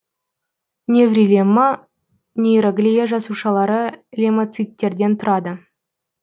неврилемма нейроглия жасушалары леммоциттерден тұрады